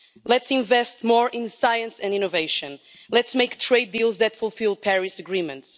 Let's invest more in science and innovation. Let's make trade deals that fulfil the Paris Agreement.